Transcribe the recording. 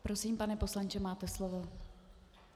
Prosím, pane poslanče, máte slovo.